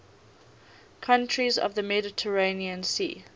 countries of the mediterranean sea